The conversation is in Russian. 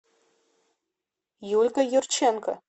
юлькой юрченко